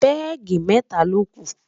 pegi meta loku